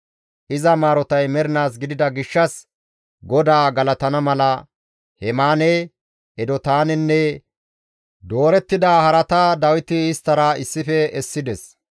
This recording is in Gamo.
Iza maarotay mernaas gidida gishshas GODAA galatana mala Hemaane, Edotaanenne doorettida harata Dawiti isttara issife essides.